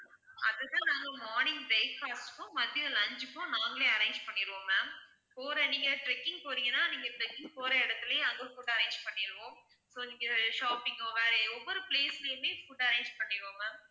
அது தான் நாங்க morning breakfast க்கும் மதியம் lunch க்கும் நாங்களே arrange பண்ணிடுவோம் ma'am போற நீங்க trekking போறீங்கனா நீங்க trekking போற இடத்திலேயே அங்க food அ arrange பன்ணிடுவோம் so நீங்க shopping ஓ வேற ஒவ்வொரு place லயுமே food arrange பண்ணிடுவோம் ma'am